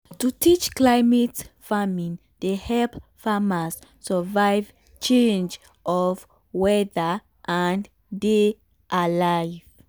to teach climate farming dey help farmers survive change of weather and dey alive.